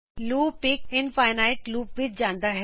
loop ਇਕ infinite loop ਵਿਚ ਜਾਂਦਾ ਹੈ